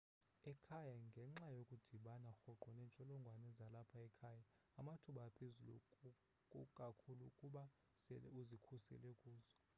ekhaya ngenxa yokudibana rhoqo neentsholongwane zalapha ekhaya amathuba aphezulu kakhulu ukuba sele uzikhusele kuzo